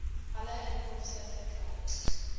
alle inkomste verkry